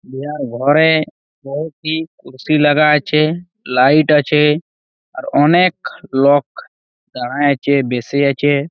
ইয়ার ঘরেএ কয়েকটি কুরসি লাগা আছে লাইট আছে আর অনেক লক লাগায় আছে আছে।